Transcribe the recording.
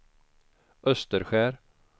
Österskär